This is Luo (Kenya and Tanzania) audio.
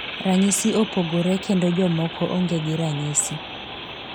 Ranyisi opogore, kendo jomoko onge gi ranyisi.